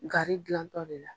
Gari gilantɔ de la